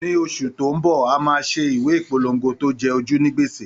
Ní oṣù tó ń bọ̀, a máa ṣe ìwé ìpolongo tó jẹ ojú ní gbèsè.